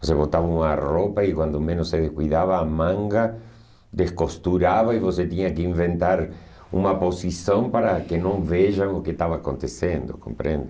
Você botava uma roupa e, quando menos se cuidava, a manga descosturava e você tinha que inventar uma posição para que não vejam o que estava acontecendo, compreende?